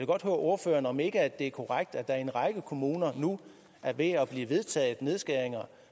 godt høre ordføreren om ikke det er korrekt at der i en række kommuner nu er ved at blive vedtaget nedskæringer